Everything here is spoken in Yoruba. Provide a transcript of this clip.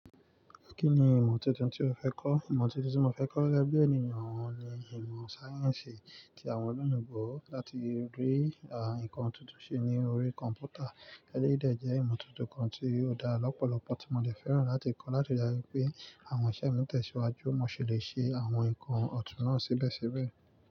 Kí ni ìmọ̀ tuntun tí ó fẹ́ kọ́? Ìmọ̀ tuntun tí mo fẹ́ kọ́ gẹ́gẹ́ bí ẹniyan ni ìmọ̀ sáyẹ́ǹsì tí àwọn oloyinbo láti rí àwọn nǹkan tuntun ṣe ní orí kọ̀m̀pútà. Gẹ́gẹ́ bí o de jẹ́ ìmọ̀ tuntun kan tí ó dá lọ́pọ̀lọpọ̀ tí mo de fẹ́ràn láti kọ́ láti le ri pé àwọn iṣẹ́ mi tẹ̀síwájú mo sì lè ṣe àwọn nǹkan ọ̀tún náà sébẹ̀síbẹ̀.